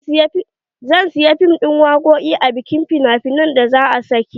zan saya fim din waƙoƙi a bikin fina finai da za'a sake yi.